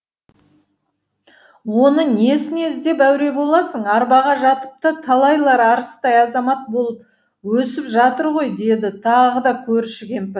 оны несіне іздеп әуре боласың арбаға жатып та талайлар арыстай азамат болып өсіп жатыр ғой деді тағы да көрші кемпір